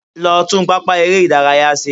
Lọ tún pápá eré-ìdárayá ṣe.